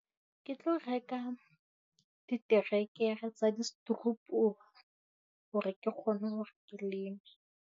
Ke tlo reka diterekere tsa di hore ke kgone hore ke leme.